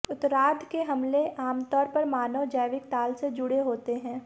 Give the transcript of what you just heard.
उत्तरार्द्ध के हमले आमतौर पर मानव जैविक ताल से जुड़े होते हैं